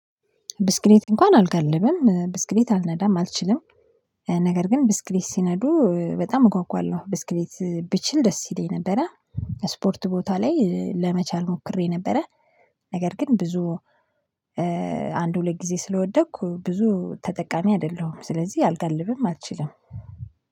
ብስክሌት እንኳን አልጋልብም ብስክሌት አልነዳም አልችልም። ነገር ግን ብስክሌት ሲነዱ በጣም እጓጓለሁ ብስክሌት ብችል ደስ ይለኝ ነበረ። ስፖርት ቦታ ላይ ለመቻል ሞክሬ ነበረ። ነገር ግን ብዙ አንድ ሁለት ጊዜ ስለወደኩ ብዙ ተጠቃሚ አይደለሁም ስለዚህ አልጋልብም አልችልም።